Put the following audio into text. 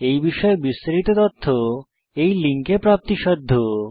এই বিষয়ে বিস্তারিত তথ্য এই লিঙ্কে প্রাপ্তিসাধ্য